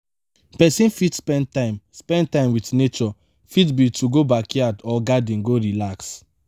person fit spend time spend time with naturee fit be to go backyard or garden go relax